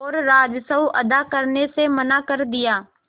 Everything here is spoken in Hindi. और राजस्व अदा करने से मना कर दिया